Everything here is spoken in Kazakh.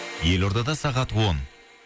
елордада сағат он